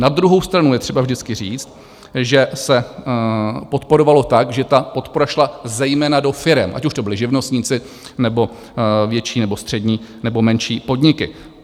Na druhou stranu je třeba vždycky říct, že se podporovalo tak, že ta podpora šla zejména do firem, ať už to byli živnostníci, nebo větší nebo střední nebo menší podniky.